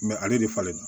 ale de falen na